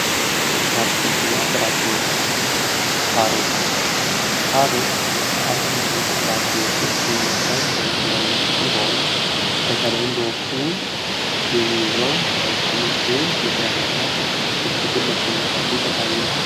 አትክልትና ፍራፍሬዎች ካሮት ከአትክልትና እና ፍራፍሬዎች ውስጥ የሚመደብ ሲሆን በተለይም በውስጡ የሚይዘው ቫይታሚን ኤ ንጥረ ነገር እጅጉን ለሰውነታችን ጠቃሚ ነው።